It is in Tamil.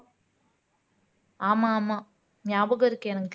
ஆமா ஆமா ஞாபகம் இருக்கு எனக்கு